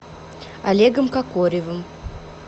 олегом кокоревым